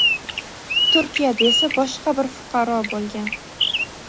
Turkiyada esa boshqa bir fuqaro bo‘lgan.